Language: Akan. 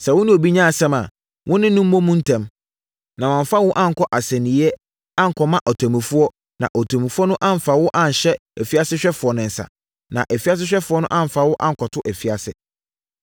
“Sɛ wo ne obi nya asɛm a, wo ne no mmɔ mu ntɛm, na wamfa wo ankɔ asɛnniiɛ ankɔma ɔtemmufoɔ, na ɔtemmufoɔ no amfa wo anhyɛ afiasehwɛfoɔ nsa, na afiasehwɛfoɔ no amfa wo ankɔto afiase.